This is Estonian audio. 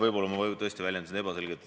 Võib-olla ma väljendusin tõesti ebaselgelt.